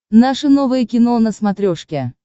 наше новое кино на смотрешке